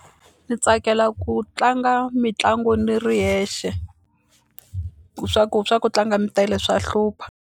Ndzi tsakela ku tlanga mitlangu ni ri yexe ku swa ku swa ku tlanga mi tele swa hlupha.